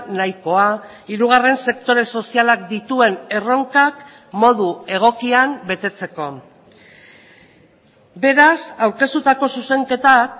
nahikoa hirugarren sektore sozialak dituen erronkak modu egokian betetzeko beraz aurkeztutako zuzenketak